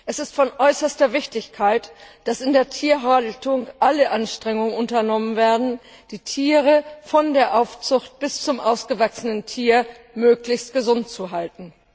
Es ist von äußerster Wichtigkeit, dass in der Tierhaltung alle Anstrengungen unternommen werden, um die Tiere von der Aufzucht an, bis sie ausgewachsen sind, möglichst gesund zu halten.